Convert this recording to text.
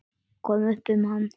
Koma upp um hann.